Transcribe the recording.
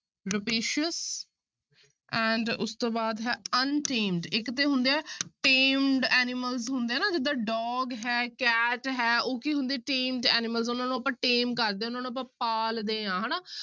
Rapacious and ਉਸ ਤੋਂ ਬਾਅਦ ਹੈ untamed ਇੱਕ ਤੇ ਹੁੰਦੇ ਹੈ tamed animals ਹੁੰਦੇ ਆ ਨਾ ਜਿੱਦਾਂ dog ਹੈ cat ਹੈ ਉਹ ਕੀ ਹੁੰਦੇ tamed animals ਉਹਨਾਂ ਨੂੰ ਆਪਾਂ tame ਕਰਦੇ ਹਾਂ ਉਹਨਾਂ ਨੂੰ ਆਪਾਂ ਪਾਲਦੇ ਹਾਂ ਹਨਾ।